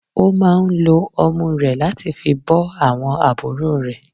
Ó máà ń lo ọmú rẹ̀ láti fi bọ́ àwọn àbúrò rẹ̀.